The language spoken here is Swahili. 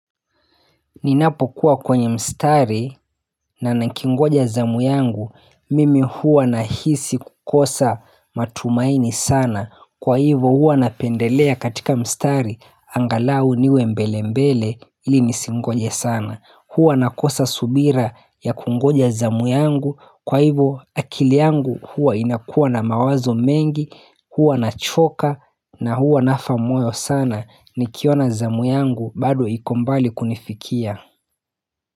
Ninapokuwa kwenye mstari nanikingoja zamu yangu, mimi huwa nahisi kukosa matumaini sana, kwa hivyo huwa napendelea katika mstari, angalau niwe mbelembele, ili nisingoje sana. Hua nakosa subira ya kungoja zamu yangu, kwa hivyo akili yangu huwa inakuwa na mawazo mengi, huwa nachoka na huwa nafa moyo sana, nikiona zamu yangu badu iko mbali kunifikia.